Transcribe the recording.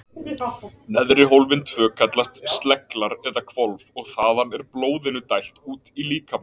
Neðri hólfin tvö kallast sleglar eða hvolf og þaðan er blóðinu dælt út í líkamann.